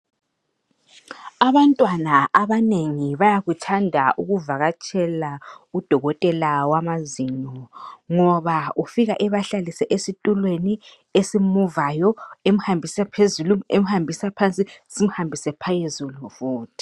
Abantwana abanengi bayakuthanda ukuvakatshela udokotela wamazinyo ngoba ufika ebahlalise esitulweni esimuvayo emhambisa phezulu simhambise phansi simhambise phezulu futhi